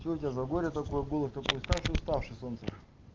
что у тебя за горе такое было что такой уставший уставший солнце